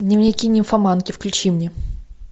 дневники нимфоманки включи мне